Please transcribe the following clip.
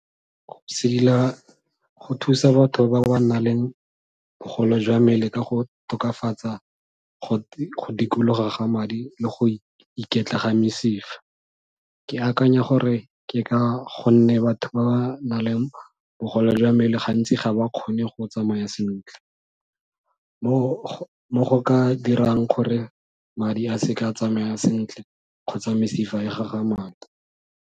Sedila go thusa batho ba ba nang le bogole jwa mmele ka go tokafatsa go dikologa ga madi le go iketla ga mesifa. Ke akanya gore ke ka gonne batho ba ba nang le bogole jwa mmele gantsi ga ba kgone go tsamaya sentle, mo go ka dirang gore madi a se ka tsamaya sentle kgotsa mesifa e gagamale.